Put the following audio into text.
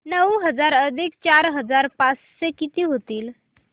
नऊ हजार अधिक चार हजार पाचशे किती होतील